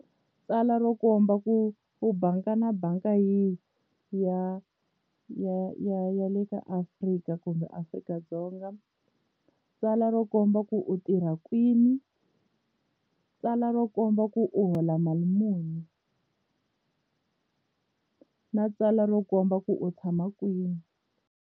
Tsalwa ro komba ku u banga na banga yi ya ya ya ya le ka Afrika kumbe Afrika-Dzonga tsalwa ro komba ku u tirha kwini tsalwa ro komba ku u hola mali muni na tsalwa ro komba ku u tshama kwini.